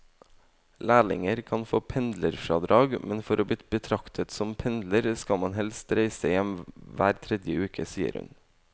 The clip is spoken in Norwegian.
Lærlinger kan få pendlerfradrag, men for å bli betraktet som pendler skal man helst reise hjem hver tredje uke, sier hun.